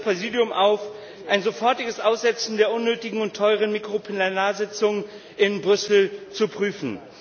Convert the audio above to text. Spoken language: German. Ich fordere das Präsidium auf, ein sofortiges Aussetzen der unnötigen und teuren Mikroplenarsitzungen in Brüssel zu prüfen.